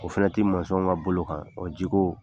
O fana ti ka bolo kan, ji ko